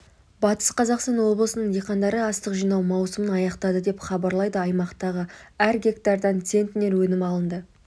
батыс қазақстан облысының диқандары астық жинау маусымын аяқтады деп хабарлайды аймақтағы әр гектардан центнер өнім алынды